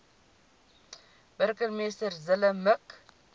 burgemeester zille mik